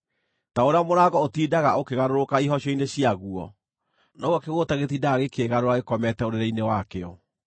Ta ũrĩa mũrango ũtindaga ũkĩgarũrũka ihocio-inĩ ciaguo, noguo kĩgũũta gĩtindaga gĩkĩĩgarũra gĩkomete ũrĩrĩ-inĩ wakĩo.